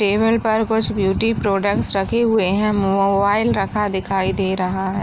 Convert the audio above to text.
Table पर कुछ beauty products रखी हुए है मोबाइल रखा दिखाई दे रहा है।